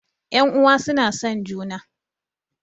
Ƴan uwa suna son juma